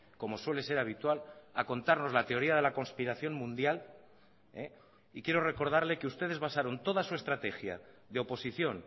como suele ser habitual a contarnos la teoría de la conspiración mundial y quiero recordarle que ustedes basaron toda su estrategia de oposición